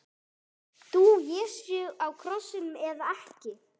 Dó Jesú á krossinum eða ekki?